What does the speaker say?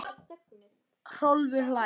Hrólfur hlær.